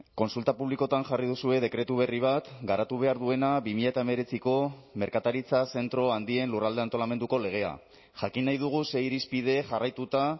kontsulta publikoetan jarri duzue dekretu berri bat garatu behar duena bi mila hemeretziko merkataritza zentro handien lurralde antolamenduko legea jakin nahi dugu ze irizpide jarraituta